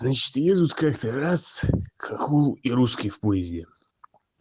значит едут как-то раз хохол и русский в поезде